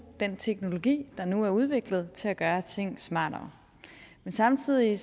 den teknologi der nu er udviklet til at gøre ting smartere men samtidig